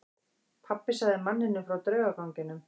Pabbi sagði manninum frá draugaganginum.